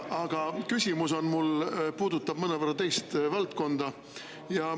Aga mu küsimus puudutab mõnevõrra teist valdkonda.